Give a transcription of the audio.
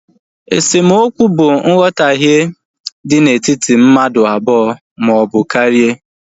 Esemokwu bụ nghotahie dị na etiti mmadụ abụọ maọbụ karia